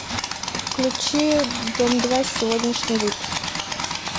включи дом два сегодняшний выпуск